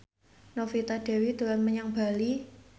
Novita Dewi dolan menyang Bali